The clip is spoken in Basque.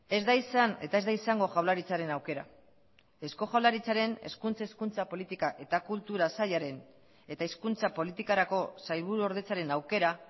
ez da izan eta ez da izango jaurlaritzaren aukera eusko jaurlaritzaren hizkuntz hezkuntza politika eta kultura sailaren eta hizkuntza politikarako sailburuordetzaren aukera